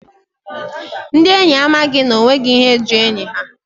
Ndi enyi a amaghị n'onweghi ihe ji enyi ha.